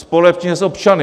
Společně s občany.